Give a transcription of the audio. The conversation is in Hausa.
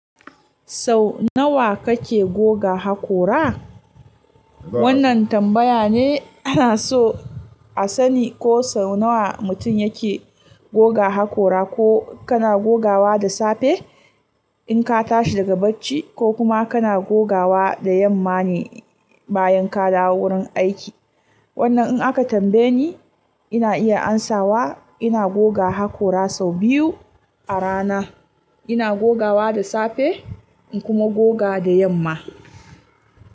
Sau nawa kake goga hakora? Wannan tambaya ne, ana so a sani ko sau nawa mutum yake goga hakora, ko kana gogawa da safe, in ka tashi daga bacci ko, kuma kana gogawa da yamma ne, bayan ka dawo wurin aiki. Wannan in aka tambaye ni, ina iya amsawa ina goga hakora sau biyu a rana. Ina gogawa da safe, in kuma gogawa da yamma.